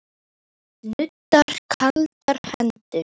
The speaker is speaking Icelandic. Nuddar kaldar hendur.